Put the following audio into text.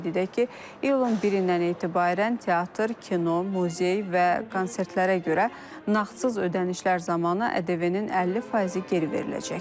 Qeyd edək ki, iyulun 1-dən etibarən teatr, kino, muzey və konsertlərə görə nağdsız ödənişlər zamanı ƏDV-nin 50%-i geri veriləcək.